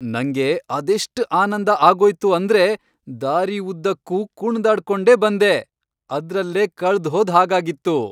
ನಂಗೆ ಅದೆಷ್ಟ್ ಆನಂದ ಆಗೋಯ್ತು ಅಂದ್ರೆ ದಾರಿಉದ್ದಕ್ಕೂ ಕುಣ್ದಾಡ್ಕೊಂಡೇ ಬಂದೆ.. ಅದ್ರಲ್ಲೇ ಕಳ್ದ್ಹೋದ್ ಹಾಗಾಗಿತ್ತು.